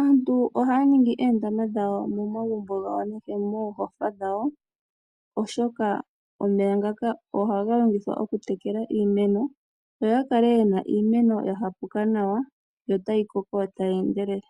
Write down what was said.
aantu ohaya ningi oondama dhawo momagumbo gawo oshowo moohofa dhawo, oshoka omeya ngaka ohaga longithwa okutekela iimeno. Y ta kale yena iimeno ya hapa nawa, yo tayi koko tayi endelele.